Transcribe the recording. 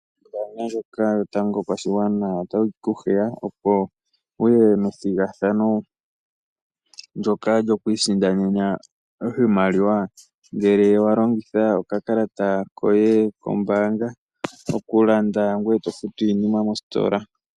Oombaanga ndjoka yotango yopashigwana otayi ku hiya, opo wuye methigathano ndyoka lyo kwiisindanena oshimaliwa ngele wa longitha oka kalata koye kombaanga, okulanda ngoye to futu iinima mositola.